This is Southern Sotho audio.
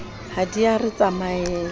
ha di a re tsamaela